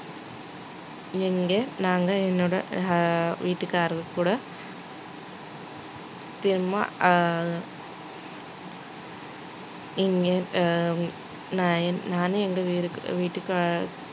எங்க நாங்க என்னோட ஆஹ் வீட்டுக்காரர் கூட திரும்ப ஆஹ் இங்கே ஆஹ் நான் நானும் எங்க